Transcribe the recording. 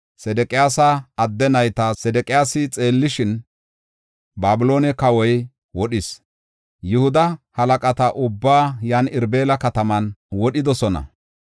Sedeqiyaasa adde nayta Sedeqiyaasi xeellishin, Babiloone kawoy wodhis. Yihuda halaqata ubbaa yan Irbila kataman wodhidosona.